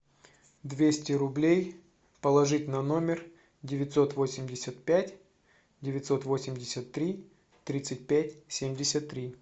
двести рублей положить на номер девятьсот восемьдесят пять девятьсот восемьдесят три тридцать пять семьдесят три